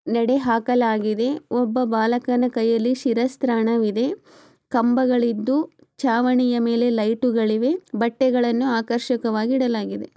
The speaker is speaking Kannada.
ಎಡ ಹಾಕಲಾಗಿದೆ ಒಬ್ಬ ಬಾಲಕನ ಕೈಯಲ್ಲಿ ಶಿರಸ್ತ್ರಾಣವಿದೆ ಕಂಬಗಳಿದ್ದು ಛಾವಣಿಯ ಮೇಲೆ ಲೈಟುಗಳಿವೆ ಬಟ್ಟೆಗಳನ್ನು ಆಕರ್ಷಿಕವಾಗಿ ಇಡಲಾಗಿದೆ.